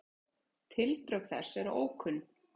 Tildrög þess eru ókunn.